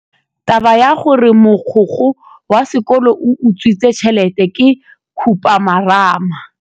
Taba ya gore mogokgo wa sekolo o utswitse tšhelete ke khupamarama.